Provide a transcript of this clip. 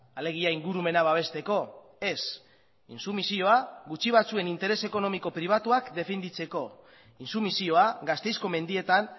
alegia ingurumena babesteko ez intsumisioa gutxi batzuen interes ekonomiko pribatuak defenditzeko intsumisioa gasteizko mendietan